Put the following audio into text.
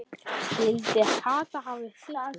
Skyldi Kata hafa fitnað?